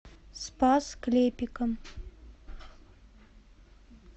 спас клепикам